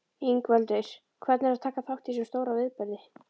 Ingveldur: Hvernig er að taka þátt í þessum stóra viðburði?